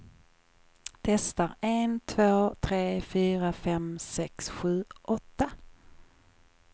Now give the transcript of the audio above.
Testar en två tre fyra fem sex sju åtta.